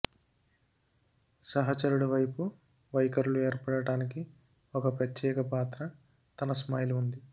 సహచరుడు వైపు వైఖరులు ఏర్పడడానికి ఒక ప్రత్యేక పాత్ర తన స్మైల్ ఉంది